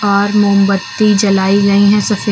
और मोमबत्ती जलाई गई हैं सफेद--